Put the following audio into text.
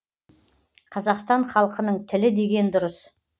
қазақстан халқының тілі деген дұрыс